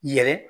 Yɛrɛ